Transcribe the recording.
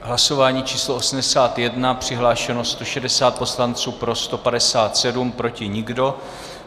Hlasování číslo 81, přihlášeno 160 poslanců, pro 157, proti nikdo.